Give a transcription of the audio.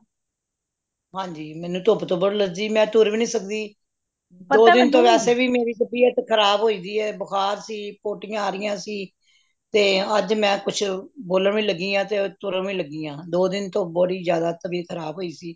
ਹੰਜੀ ਮੈਨੂੰ ਧੁੱਪ ਤੋਂ ਬੜੀ allergy ਮੈਂ ਤੁਰ ਵੀ ਨਹੀਂ ਸਕਦੀ ਮੇਰੀ ਤਬੀਯਤ ਖਰਾਬ ਹੋਇ ਦੀਏ ਬੁਖਾਰ ਸੀ পিতি ਯਾ ਆ ਰਹੀਆਂ ਸੀ ਤੇ ਅੱਜ ਮੈਂ ਕੁਛ ਬੋਲਣ ਲੱਗਿਆਂ ਤੇ ਤੁਰਨ ਵੀ ਲੱਗਿਆਂ ਦੋ ਦਿਨ ਤੋਂ ਬੜੀ ਜ਼ਿਆਦਾ ਤਬੀਯਤ ਖਰਾਬ ਹੋਇ ਸੀ